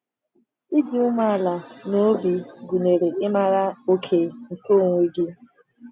Ịdị umeala n’obi gụnyere ịmara oke nke onwe gị.